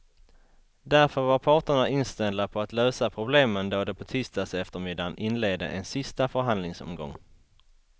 Därför var parterna inställda på att lösa problemen då de på tisdagseftermiddagen inledde en sista förhandlingsomgång.